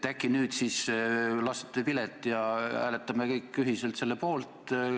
Äkki nüüd siis lasete vilet ja hääletame kõik ühiselt selle poolt?